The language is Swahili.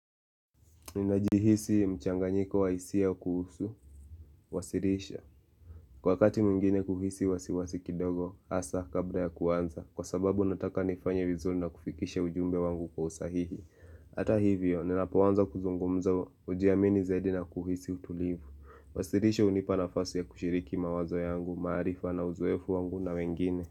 Ninajihisi mchanganyiko wa hisia kuhusu, kuwasilisha Kwa wakati mwngine kuhisi wasiwasi kidogo, hasa kabla ya kuanza Kwa sababu nataka nifanye vizuri na kufikisha ujumbe wangu kwa usahihi Ata hivyo, ninapoanza kuzungumza, hujiamini zaidi na kuhisi utulivu. Wasirisho hunipa nafasi ya kushiriki mawazo yangu, maarifa na uzoefu wangu na wengine.